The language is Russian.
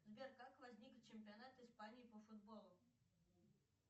сбер как возник чемпионат испании по футболу